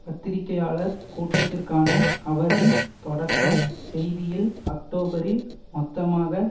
பத்திரிகையாளர் கூட்டத்திற்கான அவரின் தொடக்க செய்தியில் அக்டோபரில் மொத்தமாக